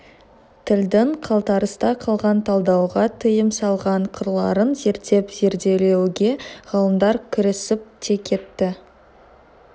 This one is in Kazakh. тілдің қалтарыста қалған талдауға тыйым салған қырларын зерттеп зерделеуге ғалымдар кірісіп те кетті